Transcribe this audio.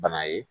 Bana ye